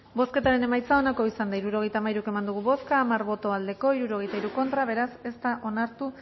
bozketaren emaitza onako izan da hirurogeita hamairu eman dugu bozka hamar boto aldekoa sesenta y tres contra beraz ez da onartu